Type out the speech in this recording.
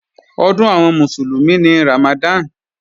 Ọdún àwọn Mùsùlùmí ni Ramadan